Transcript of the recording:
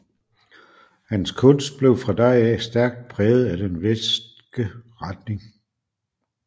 Hans kunst blev fra da af stærkt præget af den westske retning